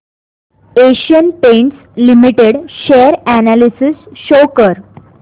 Asian Paints limited share analysis show कर